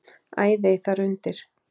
Æðey þar undir.